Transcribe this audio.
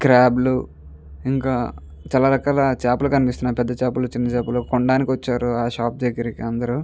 Crab లు ఇంకా చాల రకాల చేపలు కనిపిస్తునాయి పెద్ద చేపలు చిన్న చేపలు కొనడానికి వచ్చారు ఆ షాప్ దగ్గరకి అందరు.